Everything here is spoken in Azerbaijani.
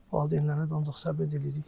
Valideynlərinə də ancaq səbr diləyirik.